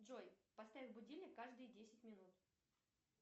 джой поставь будильник каждые десять минут